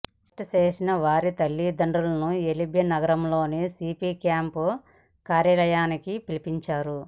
arrest చేసిన వారి తల్లిదండ్రులను ఎల్బీనగర్లోని సీపీ క్యాప్ కార్యాలయానికి పిలిపించారు